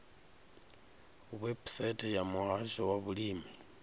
website ya muhasho wa vhulimi